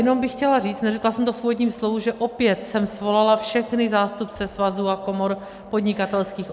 Jenom bych chtěla říct, neřekla jsem to v úvodním slovu, že opět jsem svolala všechny zástupce svazů a komor podnikatelských.